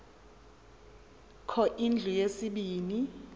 kho indlu yesibini